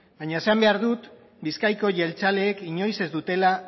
baina esan behar dut bizkaiko jeltzaleek inoiz ez dutela